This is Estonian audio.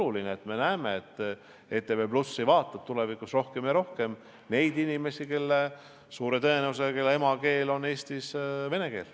Oleks väga vaja, et ETV+ vaatab tulevikus aina rohkem Eesti inimesi, kelle emakeel on vene keel.